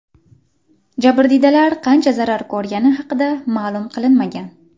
Jabrdiydalar qancha zarar ko‘rgani haqida ma’lum qilinmagan.